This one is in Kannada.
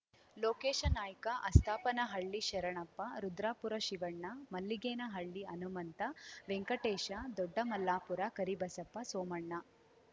ಲೋಕೇಶ ನಾಯ್ಕ ಅಸ್ತಾಪನಹಳ್ಳಿ ಶರಣಪ್ಪ ರುದ್ರಾಪುರ ಶಿವಣ್ಣ ಮಲ್ಲಿಗೇನಹಳ್ಳಿ ಹನುಮಂತ ವೆಂಕಟೇಶ ದೊಡ್ಡಮಲ್ಲಾಪುರ ಕರಿಬಸಪ್ಪ ಸೋಮಣ್ಣ